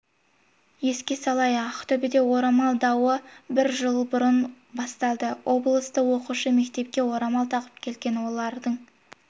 еске салайық ақтөбеде орамал дауы бір жыл бұрын басталды облыста оқушы мектепке орамал тағып келген олардың